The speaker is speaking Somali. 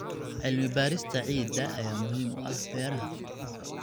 Cilmi-baarista ciidda ayaa muhiim u ah beeraha.